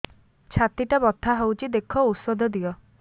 ଛାତି ଟା ବଥା ହଉଚି ଦେଖ ଔଷଧ ଦିଅ